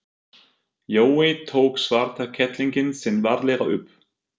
Jói tók svarta kettlinginn sinn varlega upp.